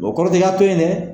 O kɔrɔ tɛ i k'a to yen dɛ